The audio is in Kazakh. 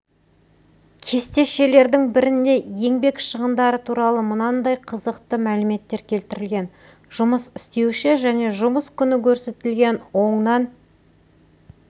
кестешелердің бірінде еңбек шығындары туралы мынандай қызықты мәліметтер келтірілген жұмыс істеуші және жұмыс күні көрсетілген онан